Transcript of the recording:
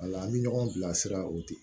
Ala an bɛ ɲɔgɔn bilasira o de